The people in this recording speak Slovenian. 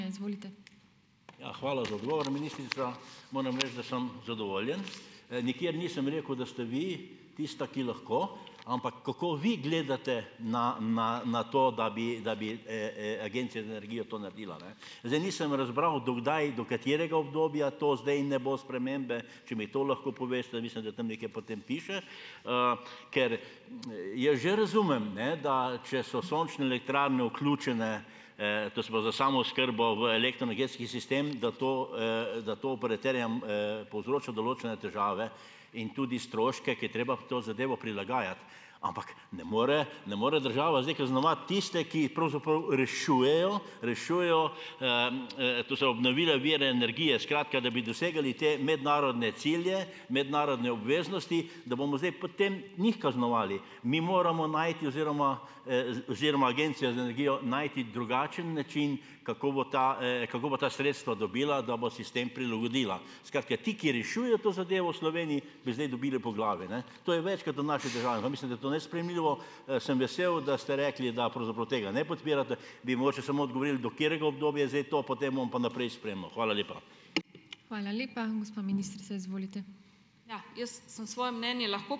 Ja, hvala za odgovor, ministrica. Moram reči, da sem zadovoljen. nikjer nisem rekel, da ste vi tista, ki lahko, ampak kako vi gledate na, na, na to, da bi, da bi, Agencija za energijo to naredila, ne. Zdaj, nisem razbral do kdaj, do katerega obdobja to zdaj ne bo spremembe, če mi to lahko poveste, mislim, da tam nekje potem piše, ker jaz že razumem, ne, da če so sončne elektrarne vključene, to se pravi za samooskrbo v elektroenergetski sistem, da to, da to operaterjem, povzroča določene težave in tudi stroške, ko je treba to zadevo prilagajati. Ampak, ne more, ne more država zdaj kaznovati tiste, ki pravzaprav rešujejo, rešujejo, to se pravi obnovljive vire, skratka, da bi dosegali te mednarodne cilje, mednarodne obveznosti, da bomo zdaj potem njih kaznovali. Mi moramo najti oziroma, oziroma Agencijo za energijo najti drugačen način, kako bo ta, kako bo ta sredstva dobila, da bo sistem prilagodila. Skratka, ti, ki rešujejo to zadevo v Sloveniji, bi zdaj dobili po glavi, ne. To je večkrat v naši državi pa mislim, da to nesprejemljivo. sem vesel, da ste rekli, da pravzaprav tega ne podpirate. Bi mogoče samo odgovoril do katerega obdobja je zdaj to? Potem bom pa naprej spremljal. Hvala lepa.